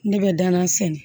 Ne bɛ dangan sɛnɛ